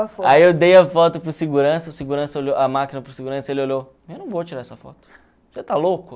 Aí eu dei a foto para o segurança, o segurança olhou a máquina para o segurança, ele olhou, eu não vou tirar essa foto, você está louco?